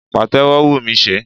Pàtẹ́wọ́ ń wù mí ṣe